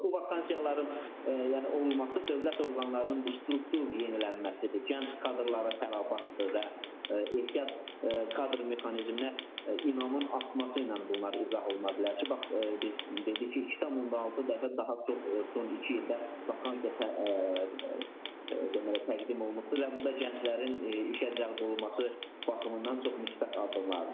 Bu vakansiyaların yəni olması dövlət orqanlarının bu struktur yenilənməsidir, gənc kadrlara fərabətdir və ehtiyat kadr mexanizminə inamın artması ilə bunlar izah oluna bilər ki, bax biz dedik ki, 2,6 dəfə daha çox son iki ildə vakansiya deməli təqdim olunubdur və bu da gənclərin işə cəlb olunması baxımından çox müsbət addımlardır.